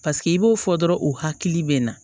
Paseke i b'o fɔ dɔrɔn u hakili bɛ na